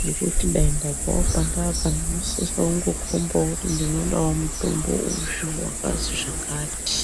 ngekuti ukaenda pawo wesisa kungokombawo kuti ndoda mutombo uyu wakazwi zvakati..